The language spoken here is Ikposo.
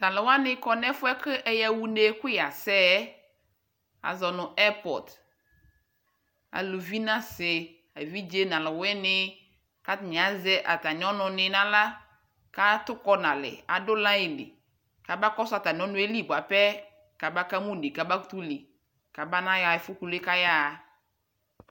tʊ alʊwanɩ dʊ avawu ayʊ ɛfʊ mli, aluvi nʊ asɩ emlo nʊ alʊwɩnɩ, kʊ atanɩ, azɛ atamɩ ɔnʊ nɩ nʊ aɣla, kʊ atʊkɔ nalɛ, amakɔsʊ atamɩ ɔnʊwa li bua pɛ kʊ ama kama une k'ameli ɣa ɛfʊ yɛ kʊ ayaɣa